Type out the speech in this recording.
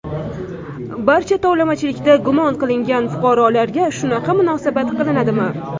Barcha tovlamachilikda gumon qilingan fuqarolarga shunaqa munosabat qilinadimi?